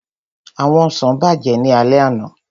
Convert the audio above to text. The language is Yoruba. Àwọn ọsàn bàjẹ́ ní alẹ́ àná